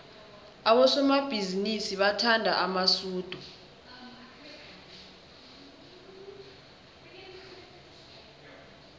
abosomabhizinisi bathanda amasudu